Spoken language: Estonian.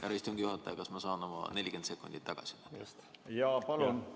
Härra istungi juhataja, kas ma saan oma 40 sekundit tagasi, palun?